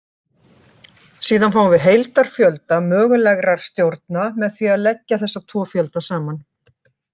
Síðan fáum við heildarfjölda mögulegra stjórna með því að leggja þessa tvo fjölda saman.